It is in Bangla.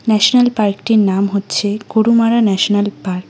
ন্যাশনাল পার্কটির নাম হচ্ছে গোরুমারা ন্যাশনাল পার্ক ।